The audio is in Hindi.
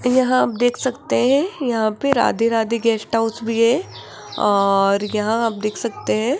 यहां आप देख सकते हैं यहां पे राधे राधे गेस्ट हाउस भी है और यहां आप देख सकते हैं --